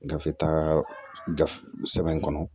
Gafe taara gafe sɛbɛn in kɔnɔ